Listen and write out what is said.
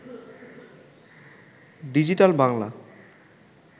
digital Bangla